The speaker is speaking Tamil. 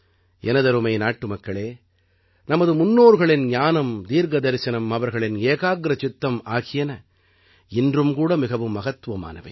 எனதருமை நாட்டுமக்களே நமது முன்னோர்களின் ஞானம் தீர்க்க தரிசனம் அவர்களின் ஏகாக்ரசித்தம் ஆகியன இன்றும் கூட மிகவும் மகத்துவமானவை